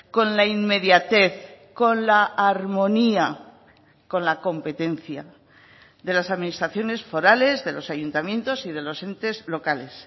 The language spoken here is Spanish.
con la inmediatez con la armonía con la competencia de las administraciones forales de los ayuntamientos y de los entes locales